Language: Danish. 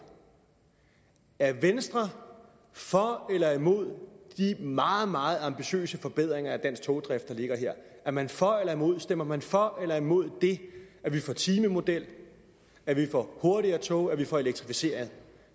er venstre for eller imod de meget meget ambitiøse forbedringer af dansk togdrift der ligger her er man for eller imod stemmer man for eller imod det at vi får timemodel at vi får hurtigere tog at vi får elektrificering